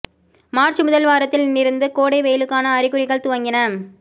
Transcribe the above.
March முதல் வாரத்தில் இருந்து கோடை வெயிலுக்கான அறிகுறிகள் துவங்கின